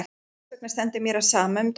Og þessvegna stendur mér á sama um dóminn.